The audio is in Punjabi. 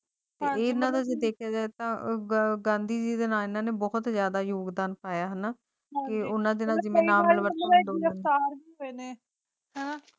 ਪਰ ਨਾਲ ਹੀ ਦੇਖਿਆ ਜਾਏ ਤਾਂ ਉਹ ਗਾਂਧੀ ਦੀ ਦਿਨਾਨੰ ਬਹੁਤ ਜ਼ਿਆਦਾ ਯੋਗਦਾਨ ਪਾਇਆ ਤੇ ਉਨ੍ਹਾਂ ਧਾੜ ਪਵੇ ਤਾਂ